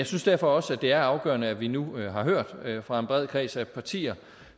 synes derfor også at det er afgørende at vi nu har hørt fra en bred kreds af partier